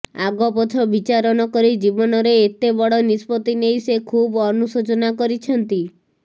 ଆଗପଛ ବିଚାର ନକରି ଜୀବନରେ ଏତେ ବଡ ନିଷ୍ପତ୍ତି ନେଇ ସେ ଖୁବ୍ ଅନୁଶୋଚନା କରିଛନ୍ତି